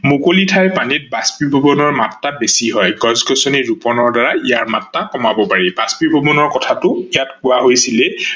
মুকলি ঠাই পানীত বাষ্পীভৱনৰ মাত্ৰা বেছি হয়, গছ-গছনি ৰুপনৰ দ্বাৰা ইয়াৰ মাত্ৰা কমাব পাৰি। বাষ্পীভৱনৰ কথাটো ইয়াত কোৱা হৈছিলেই